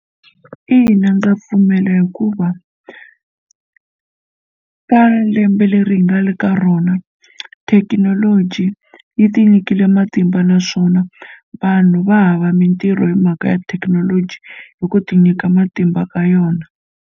Ina, ndza pfumela hikuva ka lembe leri hi nga le ka rona thekinoloji yi tinyikile matimba naswona vanhu va hava mintirho hi mhaka ya thekinoloji hi ku ti nyika matimba ka yona.